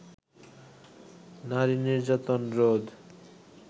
নারী-নির্যাতন রোধ